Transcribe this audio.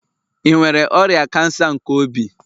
Ị nwere ọrịa kansa nke obi?